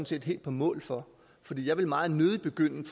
set helt på mål for for jeg vil meget nødig begynde